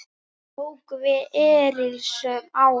Nú tóku við erilsöm ár.